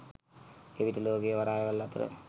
එවිට ලෝකයේ වරායවල් අතර